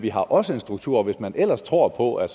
er også en struktur og hvis man ellers tror på at